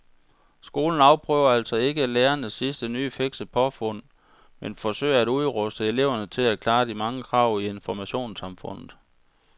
Skolen afprøver altså ikke lærernes sidste nye fikse påfund men forsøger at udruste eleverne til at klare de mange krav i informationssamfundet.